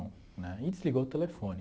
Né e desligou o telefone.